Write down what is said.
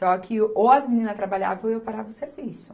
Só que ou as meninas trabalhavam ou eu parava o serviço.